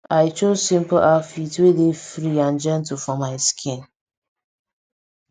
i chose simple outfit wey dey free and gentle for my skin